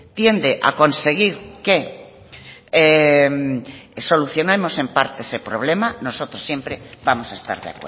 tiende a conseguir que solucionemos en parte ese problema nosotros siempre vamos a estar de